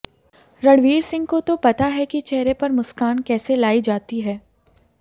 रणवीर सिंह तो पता है कि चेहरे पर मुस्कान कैसे लाई जाती है